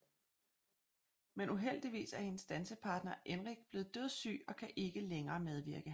Men uheldigvis er hendes dansepartner Enric blevet dødssyg og kan ikke længere medvirke